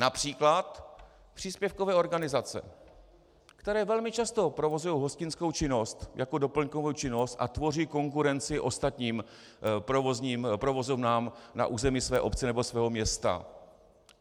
Například příspěvkové organizace, které velmi často provozují hostinskou činnost jako doplňkovou činnost a tvoří konkurenci ostatním provozovnám na území své obce nebo svého města.